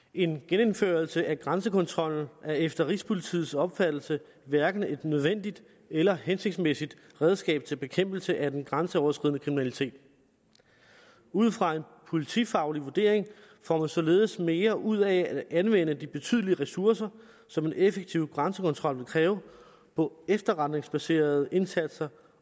en genindførelse af grænsekontrollen er efter rigspolitiets opfattelse hverken et nødvendigt eller hensigtsmæssigt redskab til bekæmpelse af den grænseoverskridende kriminalitet ud fra en politifaglig vurdering får man således mere ud af at anvende de betydelige ressourcer som en effektiv grænsekontrol vil kræve på efterretningsbaserede indsatser